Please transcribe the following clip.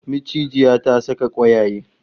Macijiya ta saka kwayaye